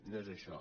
no és això